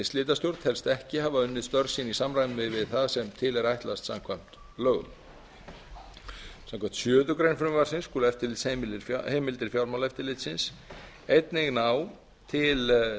slitastjórn telst ekki hafa unnið störf sín í samræmi við það sem til er ætlast samkvæmt lögum samkvæmt sjöundu grein skulu eftirlitsheimildir fjármálaeftirlitsins einnig ná til